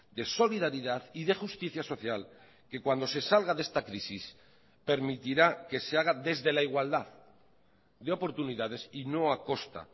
de solidaridad y de justicia social que cuando se salga de esta crisis permitirá que se haga desde la igualdad de oportunidades y no a costa